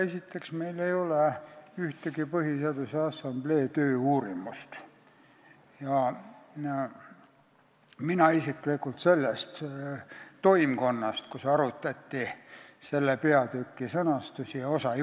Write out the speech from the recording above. Esiteks, meil ei ole ühtegi Põhiseaduse Assamblee töö uurimust ja teiseks, mina isiklikult ei võtnud osa selle toimkonna tööst, kus arutati selle peatüki sõnastust.